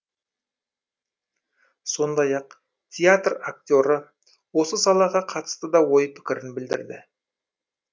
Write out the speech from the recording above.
сондай ақ театр актері осы салаға қатысты да ой пікірін білдірді